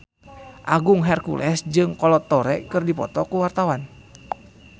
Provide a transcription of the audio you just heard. Agung Hercules jeung Kolo Taure keur dipoto ku wartawan